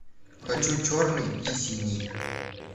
хочу черный и синий